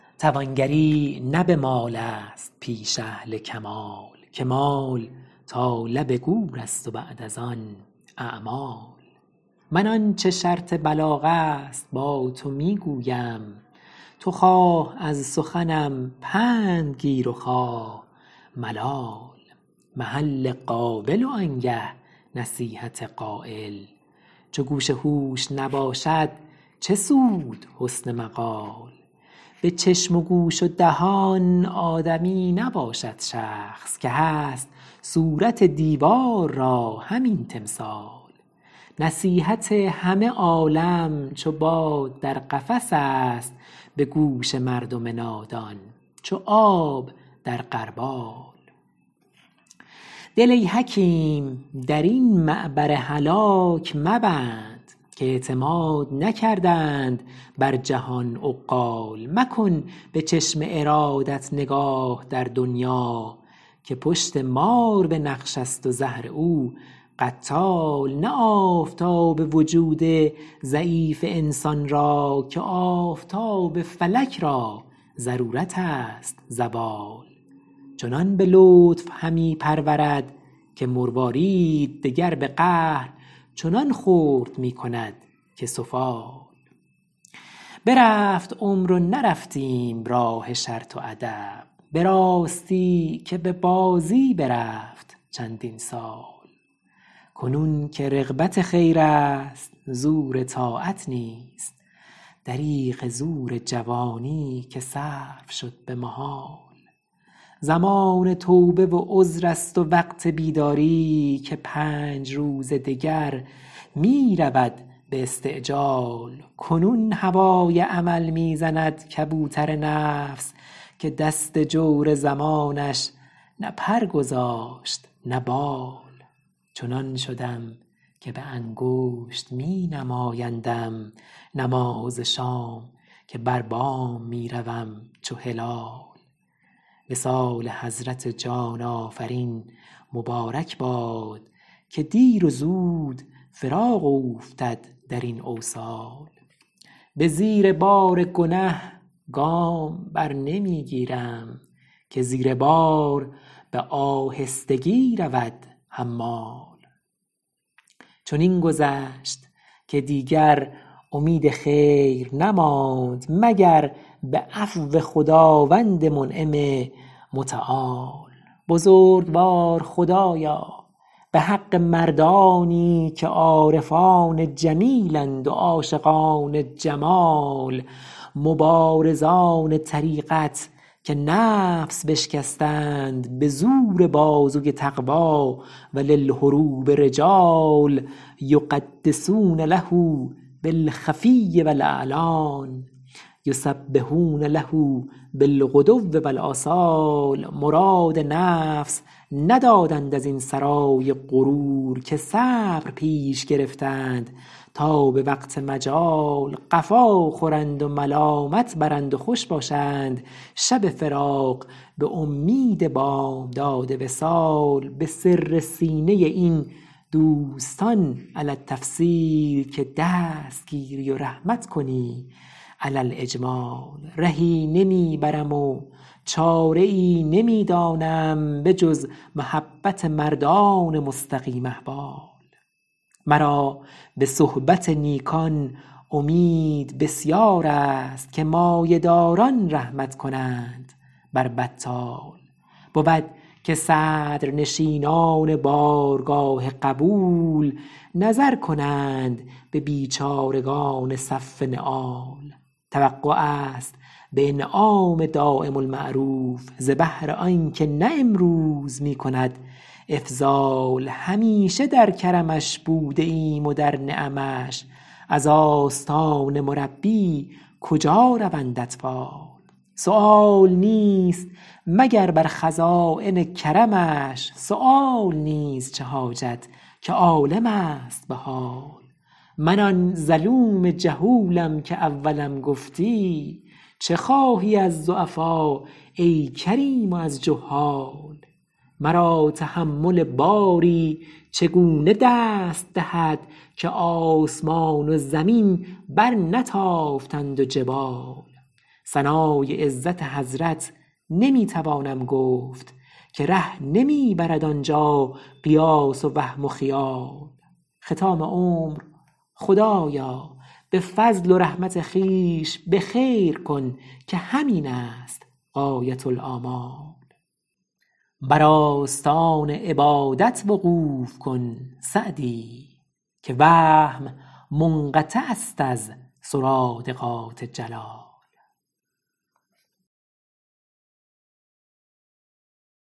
توانگری نه به مال است پیش اهل کمال که مال تا لب گور است و بعد از آن اعمال من آنچه شرط بلاغ است با تو می گویم تو خواه از سخنم پند گیر و خواه ملال محل قابل و آنگه نصیحت قایل چو گوش هوش نباشد چه سود حسن مقال به چشم و گوش و دهان آدمی نباشد شخص که هست صورت دیوار را همین تمثال نصیحت همه عالم چو باد در قفس است به گوش مردم نادان چو آب در غربال دل ای حکیم در این معبر هلاک مبند که اعتماد نکردند بر جهان عقال مکن به چشم ارادت نگاه در دنیا که پشت مار به نقش است و زهر او قتال نه آفتاب وجود ضعیف انسان را که آفتاب فلک را ضرورت است زوال چنان به لطف همی پرورد که مروارید دگر به قهر چنان خرد می کند که سفال برفت عمر و نرفتیم راه شرط و ادب به راستی که به بازی برفت چندین سال کنون که رغبت خیر است زور طاعت نیست دریغ زور جوانی که صرف شد به محال زمان توبه و عذر است و وقت بیداری که پنج روز دگر می رود به استعجال کنون هوای عمل می زند کبوتر نفس که دست جور زمانش نه پر گذاشت نه بال چنان شدم که به انگشت می نمایندم نماز شام که بر بام می روم چو هلال وصال حضرت جان آفرین مبارک باد که دیر و زود فراق اوفتد در این اوصال به زیر بار گنه گام برنمی گیرم که زیر بار به آهستگی رود حمال چنین گذشت که دیگر امید خیر نماند مگر به عفو خداوند منعم متعال بزرگوار خدایا به حق مردانی که عارفان جمیل اند و عاشقان جمال مبارزان طریقت که نفس بشکستند به زور بازوی تقویٰ و للحروب رجال یقدسون له بالخفي و الإعلان یسبحون له بالغدو و الآصال مراد نفس ندادند از این سرای غرور که صبر پیش گرفتند تا به وقت مجال قفا خورند و ملامت برند و خوش باشند شب فراق به امید بامداد وصال به سر سینه این دوستان علی التفصیل که دست گیری و رحمت کنی علی الإجمال رهی نمی برم و چاره ای نمی دانم به جز محبت مردان مستقیم احوال مرا به صحبت نیکان امید بسیار است که مایه داران رحمت کنند بر بطال بود که صدرنشینان بارگاه قبول نظر کنند به بیچارگان صف نعال توقع است به انعام دایم المعروف ز بهر آنکه نه امروز می کند إفضال همیشه در کرمش بوده ایم و در نعمش از آستان مربی کجا روند اطفال سؤال نیست مگر بر خزاین کرمش سؤال نیز چه حاجت که عالم است به حال من آن ظلوم جهولم که اولم گفتی چه خواهی از ضعفا ای کریم و از جهال مرا تحمل باری چگونه دست دهد که آسمان و زمین برنتافتند و جبال ثنای عزت حضرت نمی توانم گفت که ره نمی برد آنجا قیاس و وهم و خیال ختام عمر خدایا به فضل و رحمت خویش به خیر کن که همین است غایةالآمال بر آستان عبادت وقوف کن سعدی که وهم منقطع است از سرادقات جلال